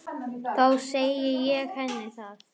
Þá segi ég henni það.